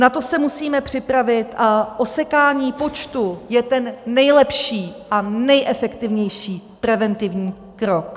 Na to se musíme připravit a osekání počtu je ten nejlepší a nejefektivnější preventivní krok.